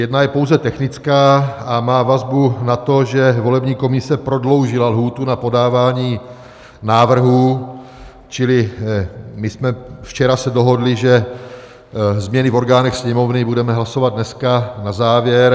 Jedna je pouze technická a má vazbu na to, že volební komise prodloužila lhůtu na podávání návrhů, čili my jsme se včera dohodli, že změny v orgánech Sněmovny budeme hlasovat dneska na závěr.